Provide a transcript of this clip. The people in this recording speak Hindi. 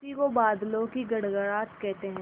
उसी को बादलों की गड़गड़ाहट कहते हैं